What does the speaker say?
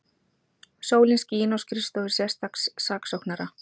Sólin skín á skrifstofur sérstaks saksóknara